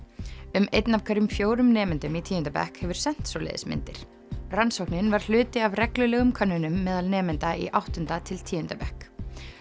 um einn af hverjum fjórum nemendum í tíunda bekk hefur sent svoleiðis myndir rannsóknin var hluti af reglulegum könnunum meðal nemenda í áttunda til tíunda bekk